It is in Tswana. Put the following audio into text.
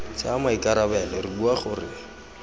tsaya maikarabelo re bua gore